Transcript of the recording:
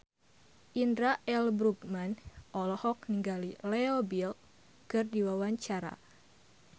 Indra L. Bruggman olohok ningali Leo Bill keur diwawancara